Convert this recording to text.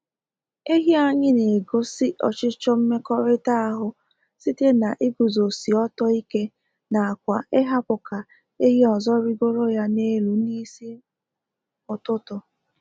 Ehi anyị na egosi ọchịchọ mmekọrịta ahụ site na iguzosi ọtọ ike n'akwa ịhapụ ka ehi ozo rigoro ya n'elu n'is ụtụtụ